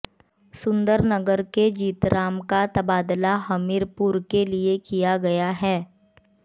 सुंदरनगर के जीतराम का तबादला हमीरपुर के लिए किया गया है